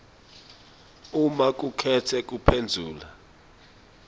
uma ukhetse kuphendvula